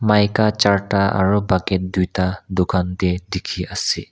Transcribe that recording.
maika charta aru bucket tuita dukan te dikhi ase.